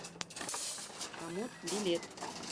комод билет